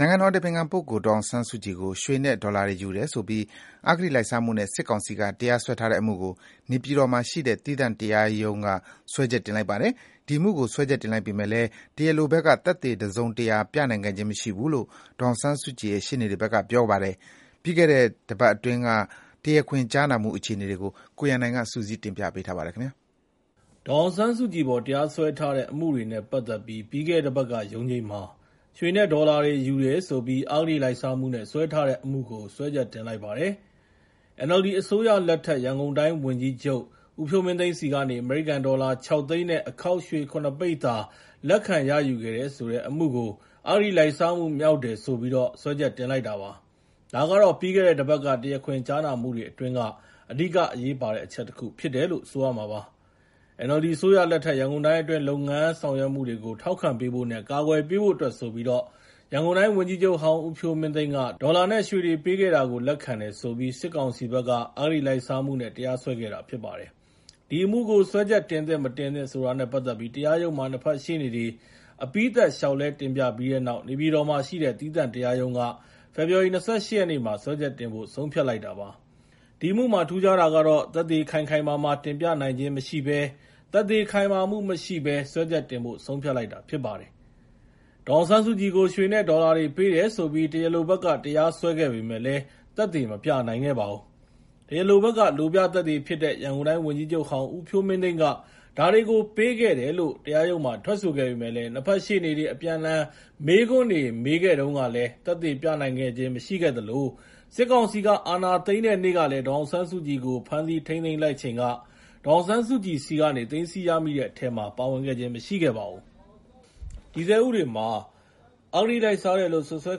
နိုင်ငံတော်အတိုင်ပင်ခံပုဂ္ဂိုလ် ဒေါ်အောင်ဆန်းစုကြည်ကို ရွှေနဲ့ ဒေါ်လာတွေ ယူတယ်ဆိုပြီး အဂတိလိုက်စားမှုနဲ့ စစ်ကောင်စီက တရားစွဲထားတဲ့အမှုကို နေပြည်တော်မှာရှိတဲ့ သီးသန့်တရားရုံးက စွဲချက်တင်လိုက်ပါတယ်။ ဒီအမှုကို စွဲချက်တင်လိုက်ပေမယ့်လည်း တရားလိုဘက်က သက်သေတစုံတရာ ပြသနိုင်ခဲ့ခြင်း မရှိခဲ့ဘူးလို့ ဒေါ်အောင်ဆန်းစုကြည်ရဲ့ ရှေ့နေတွေဘက်က ပြောပါတယ်။ ပြီးခဲ့တဲ့ တပတ်အတွင်းက တရားခွင်ကြားနာမှု အခြေအနေတွေကို ကိုရန်နိုင် စုစည်းတင်ပြပေးထားပါတယ်။ ဒေါ်အောင်ဆန်းစုကြည်အပေါ် တရားစွဲထားတဲ့ အမှုတွေနဲ့ ပတ်သက်ပြီး ပြီးခဲ့တဲ့တပတ်က ရုံးချိန်းမှာ ရွှေနဲ့ ဒေါ်လာ ယူတယ်ဆိုပြီး အဂတိလိုက်စားမှုနဲ့ စွဲထားတဲ့ အမှုကို စွဲချက်တင်လိုက်ပါတယ်။ NLD အစိုးရလက်ထက် ရန်ကုန်တိုင်းဝန်ကြီးချုပ် ဦးဖြိုးမင်းသိန်းဆီကနေ အမေရိကန်ဒေါ်လာ ၆ သိန်းနဲ့ အခေါက်ရွှေ ၇ ပိသာ လက်ခံရယူခဲ့တဲ့ဆိုတဲ့ အမှုကို အဂတိလိုက်စားမှု မြောက်တယ်ဆိုပြီး စွဲချက်တင်လိုက်တာပါ။ ဒါကတော့ ပြီးခဲ့တဲ့တပတ်က တရားခွင်ကြားနာမှုတွေ အတွင်းက အဓိက အရေးပါတဲ့အချက်တခု ဖြစ်တယ်လို့ ဆိုရမှာပါ။ NLD အစိုးရလက်ထက် ရန်ကုန်တိုင်းအတွင်း လုပ်ငန်းဆောင်ရွက်မှုတွေကို ထောက်ခံပေးဖို့နဲ့ ကာကွယ်ပေးဖို့အတွက်ဆိုပြီး ရန်ကုန်တိုင်းဝန်ကြီးချုပ်ဟောင်း ဦးဖြိုးမင်းသိန်းက ဒေါ်လာနဲ့ ရွှေတွေပေးခဲ့တာကို လက်ခံတယ်ဆိုပြီး စစ်ကောင်စီဘက်က အဂတိလိုက်စားမှုနဲ့ တရားစွဲခဲ့တာ ဖြစ်ပါတယ်။ ဒီအမှုကို စွဲချက်တင်သင့်၊ မတင်သင့်ဆိုတာနဲ့ ပတ်သက်ပြီး တရားရုံးမှာ နှစ်ဖက်ရှေ့နေတွေ အပြီးသတ်လျှောက်လဲ တင်ပြပြီးတဲ့နောက် နေပြည်တော်မှာရှိတဲ့ သီးသန့်တရားရုံးက ဖေဖော်ဝါရီ ၂၈ ရက်နေ့မှာ စွဲချက်တင်ဖို့ ဆုံးဖြတ်လိုက်တာပါ။ ဒီအမှုမှာ ထူးခြားတာကတော့ သက်သေခိုင်ခိုင်မာမာ တင်ပြနိုင်ခြင်းမရှိဘဲ သက်သေခိုင်မာမှု မရှိဘဲနဲ့ စွဲချက်တင်ဖို့ ဆုံးဖြတ်လိုက်တာ ဖြစ်ပါတယ်။ ဒေါ်အောင်ဆန်းစုကြည်ကို ရွှေနဲ့ ဒေါ်လာတွေ ပေးတယ်ဆိုပြီး တရားလိုဘက်က တရားစွဲခဲ့ပေမယ့်လည်း သက်သေမပြနိုင်ခဲ့ပါဘူး။ တရားလိုဘက်က လိုပြသက်သေဖြစ်တဲ့ ရန်ကုန်တိုင်းဝန်ကြီးချုပ်ဟောင်း ဦးဖြိုးမင်းသိန်းက ဒါတွေကို ပေးခဲ့တယ်လို့ ထွက်ဆိုခဲ့ပေမယ့်လည်း နှစ်ဖက်ရှေ့နေတွေ အပြန်အလှည် မေးခွန်းတွေနဲ့ မေးခဲ့တုန်းကလည်း သက်သေပြသနိုင်ခဲ့ခြင်း မရှိခဲ့သလို စစ်ကောင်စီက အာဏာသိမ်းတဲ့နေ့က ဒေါ်အောင်ဆန်းစုကြည်ကို ဖမ်းဆီးထိန်းသိမ်းလိုက်ချိန်ကလည်း ဒေါ်အောင်ဆန်းစုကြည်ဆီကနေ သိမ်းဆည်းရမိတဲ့အထဲမှာ ပါဝင်ခြင်း မရှိခဲ့ပါဘူး။ တည်ဆဲဥပဒေမှာ အဂတိလိုက်စားတယ်လို့ စွပ်စွဲ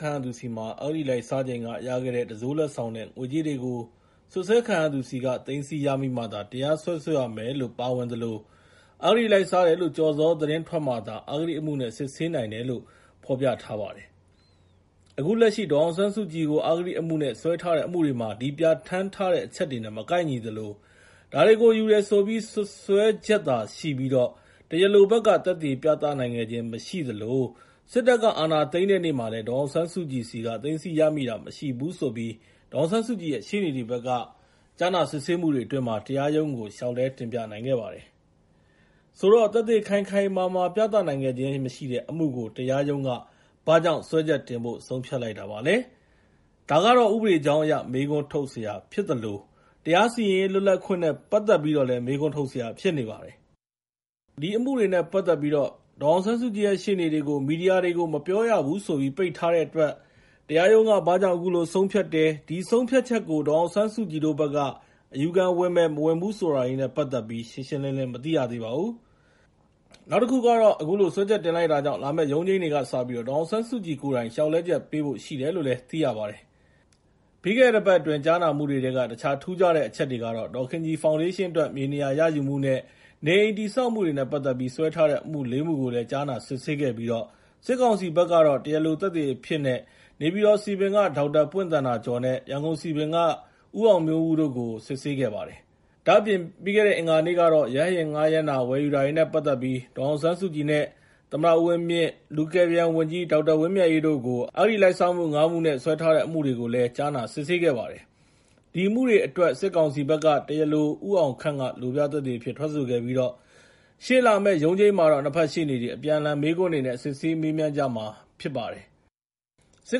ခံရသူဆီမှာ အဂတိလိုက်စားချိန်က ရခဲ့တဲ့ တံစိုးလက်ဆောင်နဲ့ ငွေကြေးတွေကို စွပ်စွဲခံရသူဆီက သိမ်းဆည်းရမိမှာသာ တရားစွဲဆိုရမယ်လို့ ပါဝင်သလို အဂတိလိုက်စားတယ်လို့ ကျော်ဇော်သတင်း ထွက်မှသာ အဂတိအမှုနဲ့ စစ်ဆေးနိုင်တယ်လို့ ဖော်ပြထားပါတယ်။ အခုလက်ရှိ ဒေါ်အောင်ဆန်းစုကြည်ကို အဂတိအမှုနဲ့ စွဲထားတဲ့ အမှုတွေမှာ ဒီပြဋ္ဌာန်းထားတဲ့ အချက်တွေနဲ့ မကိုက်ညီသလို ဒါတွေကို ယူတယ်ဆိုပြီး စွပ်စွဲချက်သာရှိပြီး တရားလိုဘက်က သက်သေပြသနိုင်ခဲ့ခြင်း မရှိသလို စစ်တပ်က အာဏာသိမ်းတဲ့နေ့မှာလည်း ဒေါ်အောင်ဆန်းစုကြည်ဆီက သိမ်းဆည်းရမိတာ မရှိဘူးလို့ ဒေါ်အောင်ဆန်းစုကြည်ရဲ့ ရှေ့နေတွေဘက်က ကြားနာစစ်ဆေးမှုတွေအတွင်း တရားရုံးကို လျှောက်လဲတင်ပြနိုင်ခဲ့ကြပါတယ်။ ဆိုတော့ သက်သေခိုင်ခိုင်မာမာ ပြသနိုင်ခဲ့ခြင်းမရှိတဲ့ အမှုကို တရားရုံးက ဘာကြောင့် စွဲချက်တင်ဖို့ ဆုံးဖြတ်လိုက်တာလဲ၊ ဒါကတော့ ဥပဒေကြောင်းအရ မေးခွန်းထုတ်စရာ ဖြစ်သလို တရားစီရင်ရေး လွတ်လပ်ခွင့်နဲ့ ပတ်သက်ပြီးတော့ မေးခွန်းထုတ်စရာ ဖြစ်နေပါတယ်။ ဒီအမှုနဲ့ပတ်သက်ပြီး ဒေါ်အောင်ဆန်းစုကြည်ရဲ့ ရှေ့နေတွေကို မီဒီယာတွေကို မပြောရဘူးဆိုပြီး ပိတ်ထားတဲ့အတွက် တရားရုံးက ဘာကြောင့် အခုလိုဆုံးဖြတ်တယ်၊ ဒီဆုံးဖြတ်ချက်ကို ဒေါ်အောင်ဆန်းစုကြည်တို့ဘက်က အယူခံဝင်မယ်၊ မဝင်ဘူး ဆိုတာတွေနဲ့ ပတ်သက်ပြီး ရှင်းရှင်းလင်းလင်း မသိရသေးပါဘူး။ အခုလို စွဲချက်တင်လိုက်တာကြောင့် လာမယ့်ရုံးချိန်းတွေကစပြီး ဒေါ်အောင်ဆန်းစုကြည်ကိုယ်တိုင် လျှောက်လဲချက်ပေးဖို့ ရှိတယ်လို့လည်း သိရပါတယ်။ ပြီးခဲ့တဲ့ တပတ်အတွင်း ကြားနာမှုတွေထဲက တခြား ထူးခြားတဲ့ အချက်တွေကတော့ ဒေါ်ခင်ကြည်ဖောင်ဒေးရှင်းအတွက် မြေနေရာရယူမှုနဲ့ နေအိမ်တည်ဆောက်မှုတွေနဲ့ ပတ်သက်ပြီး စွဲထားတဲ့အမှု ၄ မှုကိုလည်း ကြားနာစစ်ဆေးခဲ့ပြီးတော့ စစ်ကောင်စီဘက်က တရားလိုသက်သေအဖြစ်နဲ့ နေပြည်တော်စည်ပင်က ဒေါက်တာပွင့်သန္တာကျော်နဲ့ ရန်ကုန်စည်ပင်က ဦးအောင်မျိုးဦးတို့ကို စစ်ဆေးခဲ့ပါတယ်။ ဒါ့အပြင် အင်္ဂါနေ့ကတော့ ရဟတ်ယာဉ်ငှားရမ်းတာ၊ ဝယ်ယူတာတွေနဲ့ ပတ်သက်ပြီး ဒေါ်အောင်ဆန်းစုကြည်နဲ့ သမ္မတ ဦးဝင်းမြင့်၊ လူကယ်ပြန်ဝန်ကြီး ဒေါက်တာဝင်းမြတ်အေးတို့ကို အဂတိ ၅ မှုနဲ့ စွဲထားတဲ့ အမှုတွေကိုလည်း ကြားနာစစ်ဆေးခဲ့ကြပါတယ်။ ဒီအမှုတွေအတွက် စစ်ကောင်စီဘက်က တရားလို ဦးအောင်ခန့်က လိုပြသက်သေအဖြစ်နဲ့ ထွက်ဆိုခဲ့ပြီး ရှေ့လာမယ့် ရုံးချိန်းမှာတော့ နှစ်ဖက်ရှေ့နေတွေ အပြန်အလှန် မေးခွန်းတွေနဲ့ စစ်ဆေးမေးမြန်းကြမှာ ဖြစ်ပါတယ်။ အခု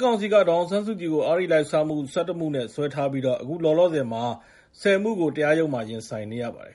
လောလောဆယ်မှာ စစ်ကောင်စီက ဒေါ်အောင်ဆန်းစုကြည်ကို အဂတိလိုက်စားမှု ၁၁ မှုနဲ့ စွဲဆိုထားပြီး အခုလောလောဆယ် ၁၀ မှုကတော့ ရင်ဆိုင်နေရပါတယ်